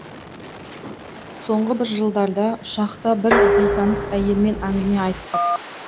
соңғы бір жылдарда ұшақта бір бейтаныс әйелмен әңгіме айттық